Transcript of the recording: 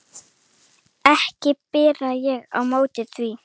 Ég ber ekki á móti því.